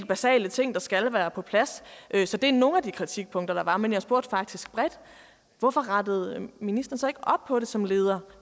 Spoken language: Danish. basale ting der skal være på plads så det er nogle af de kritikpunkter der var men jeg spurgte faktisk bredt hvorfor rettede ministeren så ikke op på det som leder